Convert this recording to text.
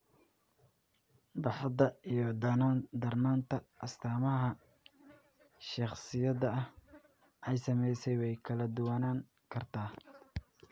Baaxadda iyo darnaanta astaamaha shakhsiyaadka ay saamaysay way kala duwanaan kartaa.